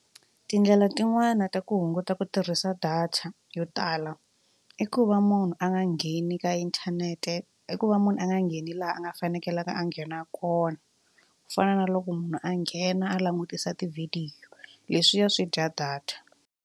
Tindlela tin'wani ta ku hunguta ku tirhisa data yo tala i ku va munhu a nga ngheni ka inthanete i ku va munhu a nga ngheni laha a nga fanekelanga a nghena kona ku fana na loko munhu a nghena a langutisa tivhidiyo leswiya swi dya data.